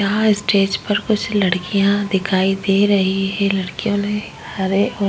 यहाँ स्टेज पर कुछ लड़कियां दिखाई दे रही हे लड़कियों ने हरे औ --